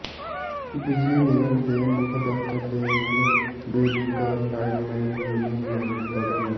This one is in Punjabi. ਬਿਜਲੀ ਨਿਗਮ ਦੇ ਮੁੱਖ ਦਫ਼ਤਰ ਦੇ ਮੂਹਰੇ ਬੇਰੁਜ਼ਗਾਰ ਲਾਈਨਮੈਨ ਯੂਨੀਅਨ ਨੇ ਦਿੱਤਾ ਧਰਨਾ